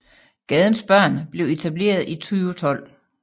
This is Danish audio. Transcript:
Gadens Børn blev etableret i 2012